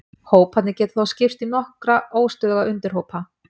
Hóparnir geta þó skipst í nokkra óstöðuga undirhópa.